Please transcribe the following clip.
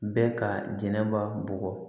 Bɛɛ ka jɛnɛba bugɔ